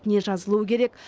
не жазылуы керек